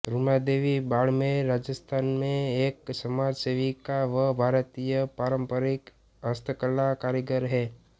रूमा देवी बाड़मेर राजस्थान में एक समाज सेविका व भारतीय पारंपरिक हस्तकला कारीगर है